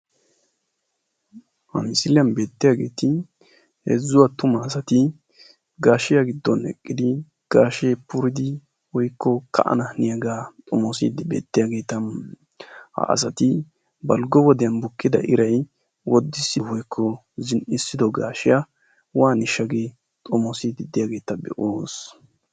ha misiliyan beettiyageeti heezzu attuma asati gaashiya giddon eqqidi gaashee puridi woyikko ka'anaaniyagee xomoosiyageeta. ha asati balggo wodiyan bukkida iray woddissi woyikko zin'issido gaashiya waaniishsha gi xomoosiiddi diyageeta be'oos.